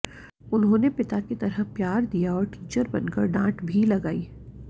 उन्होंने पिता की तरह प्यार दिया और टीचर बनकर डांट भी लगायीं